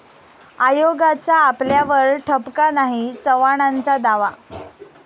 आयोगाचा आपल्यावर ठपका नाही, चव्हाणांचा दावा